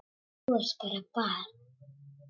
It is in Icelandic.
Þú ert bara barn.